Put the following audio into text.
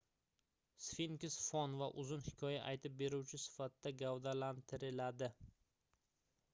sfinks fon va uzun hikoya aytib beruvchi sifatida gavdalantiriladi